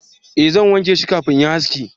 eh zan wanke shi kafin in yi haski